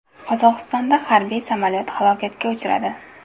Qozog‘istonda harbiy samolyot halokatga uchradi.